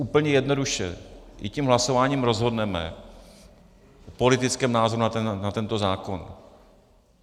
Úplně jednoduše, my tím hlasováním rozhodneme o politickém názoru na tento zákon.